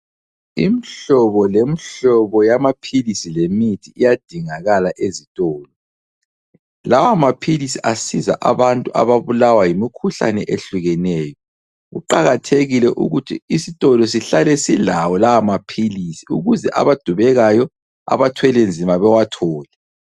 Imhlobo lemhlobo yamaphilisi lemithi iyadingakala ezitolo. Lawamaphilisi asiza abantu ababulawa yimikhuhlane ehlukeneyo. Kuqakathekile ukuthi isitolo sihlale silawo lawamaphilisi ukuze abadubekayo, abathwelenzima bewathole.